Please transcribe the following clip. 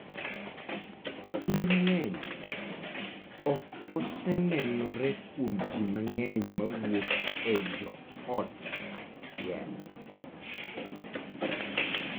Kinde mang'eny, ok osenenore kuom ji mang'eny mawuok e joot achiel.